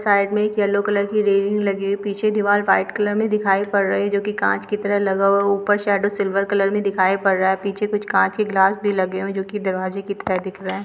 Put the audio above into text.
Side में एक yellow colour की रेलिंग लगी हुई है। पीछे दिवाल वाइट कलर में दिखाई पड़ रही है जो की कांच की तरह लगा हुआ है। ऊपर शेडो सिल्वर कलर में दिखाई पड़ रहा है। पीछे कुछ कांच के गिलास भी लगे हैं जो की दरवाजे की तरह दिख रहा है।